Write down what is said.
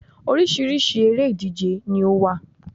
Orísirísi eré ìdíje ni ó wà